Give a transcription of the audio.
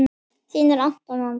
Þínir Anton og Andri.